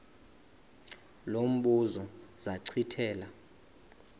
lo mbuzo zachithela